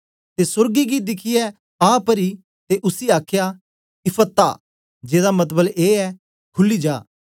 ते सोर्गे गी दिखियै आ परी ते उसी आखया इप्फत्ताह जेदा मतलब ए खुली जा